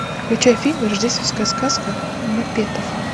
включай фильм рождественская сказка маппетов